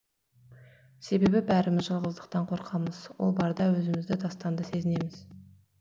себебі бәріміз жалғыздықтан қорқамыз ол барда өзімізді тастанды сезінеміз